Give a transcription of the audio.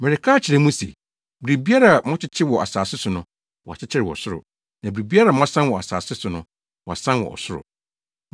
“Mereka akyerɛ mo se, biribiara a mokyekyere wɔ asase so no, wɔakyekyere wɔ ɔsoro, na biribiara a moasan wɔ asase so no, wɔasan wɔ ɔsoro.